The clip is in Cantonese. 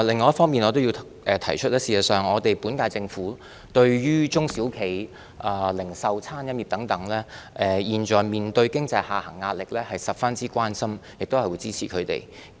我要指出的另一方面是，事實上，對於中小企、零售業及餐飲業等現時面對經濟下行壓力，政府對此十分關心並會支持它們。